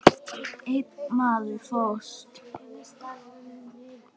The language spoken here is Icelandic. Einn maður fórst.